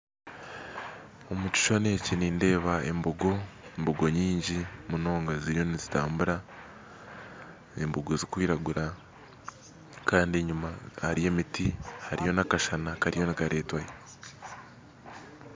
Omu kishushani eki nindeeba embogo mbogo nyingi munonga ziriyo nizitambura embogo zikwiragura Kandi enyuma hariyo emiti hariyo nakasana kariyo nikaretwayo